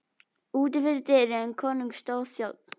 Úti fyrir dyrum konungs stóð þjónn.